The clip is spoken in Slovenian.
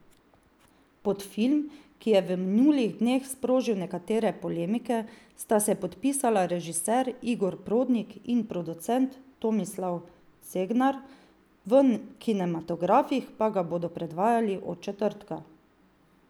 Pod film, ki je v minulih dneh sprožil nekatere polemike, sta se podpisala režiser Igor Prodnik in producent Tomislav Cegnar, v kinematografih pa ga bodo predvajali od četrtka.